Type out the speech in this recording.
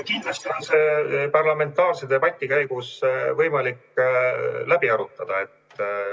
Kindlasti on seda parlamentaarse debati käigus võimalik läbi arutada.